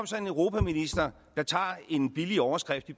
så en europaminister der tager en billig overskrift i